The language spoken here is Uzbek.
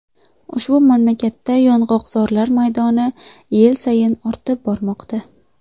Ushbu mamlakatda yong‘oqzorlar maydoni yil sayin ortib bormoqda.